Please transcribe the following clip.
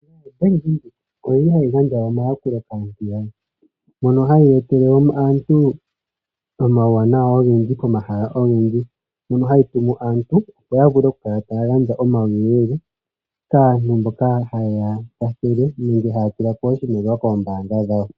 Bank Windhoek oyili hayi gandja omayakulo kaantu mono hayi etele aantu omauwanawa ogendji komahala ogendji, mono hayi tumu aantu opo ya vule oku kala taya gandja omauyelele kaantu mboka ha ye ya ya hiile nenge haya tula ko oshimaliwa koombaanga dhawo.